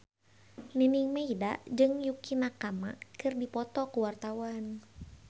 Nining Meida jeung Yukie Nakama keur dipoto ku wartawan